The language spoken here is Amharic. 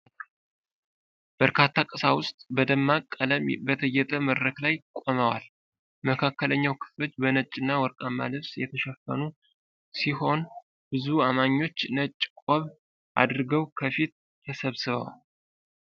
በርካታ ቀሳውስት በደማቅ ቀለም በተጌጠ መድረክ ላይ ቆመዋል። መካከለኛው ክፍሎች በነጭና ወርቃማ ልብስ የተሸፈኑ ሲሆን፣ ብዙ አማኞች ነጭ ቆብ አድርገው ከፊት ተሰብስበዋል።